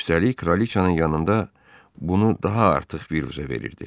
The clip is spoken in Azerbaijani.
Üstəlik kraliçanın yanında bunu daha artıq vuruza verirdi.